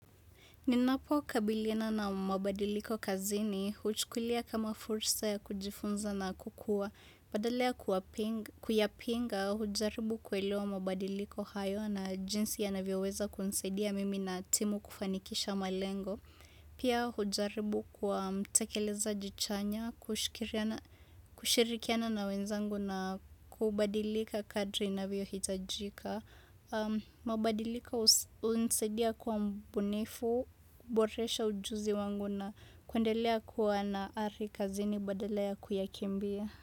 Ninapo kabilina na mabadiliko kazini, huchukulia kama fursa ya kujifunza na kukua. Badala ya kuwapinga kuyapinga, hujaribu kuelewa mabadiliko hayo na jinsi yanavyoweza kunisaidia mimi na timu kufanikisha malengo. Pia hujaribu kuwa mtekeleza chanya, kushirikiana na wenzangu na kubadilika kadri navyo hitajika. Mabadiliko hunisaidia kwa mbunifu, boresha ujuzi wangu na kuendelea kuwa na ari kazini badala ya kuyakimbia.